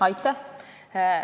Aitäh!